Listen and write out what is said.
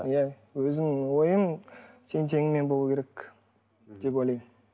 иә өзімнің ойым тең теңімен болу керек деп ойлаймын